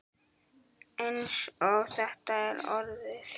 Eins og þetta er orðið.